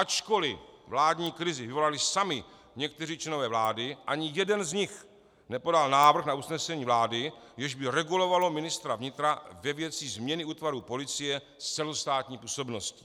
Ačkoliv vládní krizi vyvolali sami někteří členové vlády, ani jeden z nich nepodal návrh na usnesení vlády, jež by regulovalo ministra vnitra ve věci změny útvarů policie s celostátní působností.